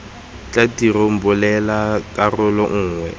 tla tirong bulela karolo nngwe